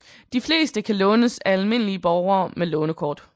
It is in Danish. De fleste kan lånes af almindelige borgere med lånerkort